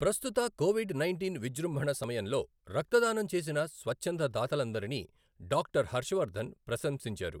ప్రస్తుత COVID nineteen విజృంభణ సమయంలో రక్తదానం చేసిన స్వచ్ఛంద దాతలందరినీ డాక్టర్ హర్షవర్ధన్ ప్రశంసించారు.